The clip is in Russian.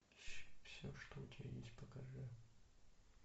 все что у тебя есть покажи